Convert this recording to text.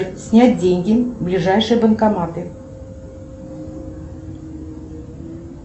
снять деньги ближайшие банкоматы